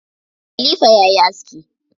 Kalifa yayi aski.